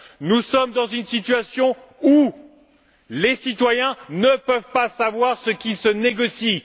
Nous sommes dans une situation où les citoyens ne peuvent pas savoir ce qui se négocie.